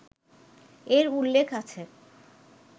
এর উল্লেখ আছে